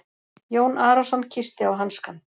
Jón Arason kyssti á hanskann.